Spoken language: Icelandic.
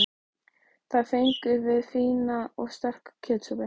Þar fengum við fína og sterka kjötsúpu.